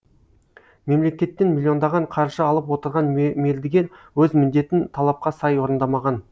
мемлекеттің миллиондаған қаржы алып отырған мердігер өз міндетін талапқа сай орындамаған